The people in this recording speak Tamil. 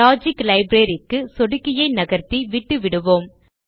லாஜிக் லைப்ரரி க் கு சொடுக்கியை நகர்த்தி விட்டு விடுவோம்